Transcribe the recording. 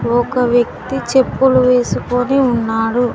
ఒక వ్యక్తి చెప్పులు వేసుకుని ఉన్నాడు.